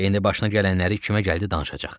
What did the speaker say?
İndi başına gələnləri kimə gəldi danışacaq.